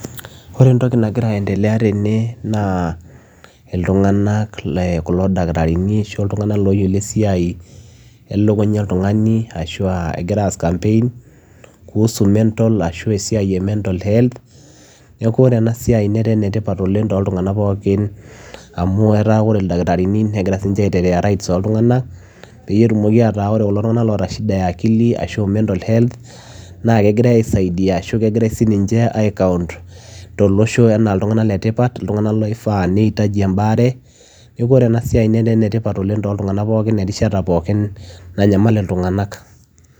Oree entokii nigiraa ayeendelea tene naa ilntunganak oshuaa ildakitarini looyiolo esiai elukunyaa oltunganii igiraa ass campaigns kuhusu mental health neeku oree enaa siai etaa enetipat too ilntunganak pookin nigiraa aaitetea right ooo ilntunganak metaa oree ilntunganak oota mental health kigrae aaisaidia toloshoo enaa ilntunganak letipat netaa enaa siai ene tipat oleng too ilntunganak